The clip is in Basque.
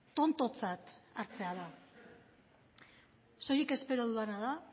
tontotzat hartzea da soilik espero dudana da